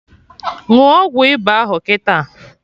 Ṅụọ ọgwụ ịba ahụ kịta!